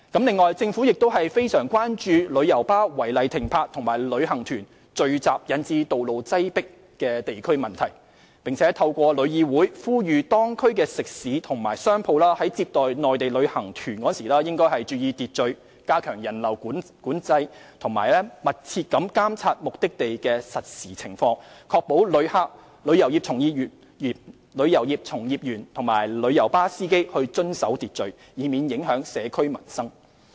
此外，政府亦非常關注旅遊巴士違例停泊及旅行團聚集引致道路擠迫等地區問題，並透過香港旅遊業議會呼籲當區食肆及商鋪在接待內地旅行團時應注意秩序，加強人流管制，以及密切監察目的地的實時情況，確保旅客、旅遊業從業員及旅遊巴士司機遵守秩序，以免影響社區民生。